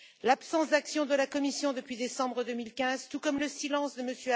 L'absence d'action de la Commission depuis décembre 2015, tout comme le silence de M.